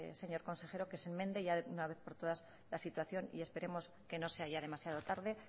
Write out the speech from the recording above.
señor consejero que se enmiende ya de una vez por todas la situación y esperemos que no sea ya demasiado tarde